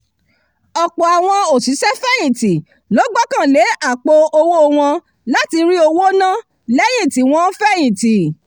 ọ̀pọ̀ àwọn òṣìṣẹ́fẹ̀yìntì ló gbọ́kànlé àpò-owó wọn láti rí owó ná lẹ́yìn tí wọ́n fẹ̀yìntì